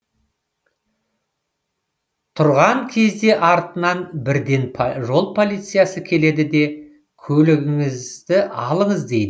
тұрған кезде артынан бірден жол полициясы келеді де көлігіңізді алыңыз дейді